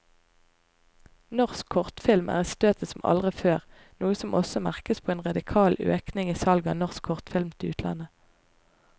Norsk kortfilm er i støtet som aldri før, noe som også merkes på en radikal økning i salget av norsk kortfilm til utlandet.